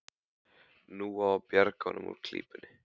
Nú á að bjarga honum úr klípunni.